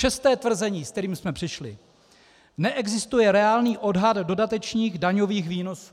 Šesté tvrzení, s kterým jsme přišli: Neexistuje reálný odhad dodatečných daňových výnosů.